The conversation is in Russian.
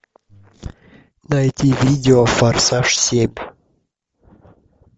найти видео форсаж семь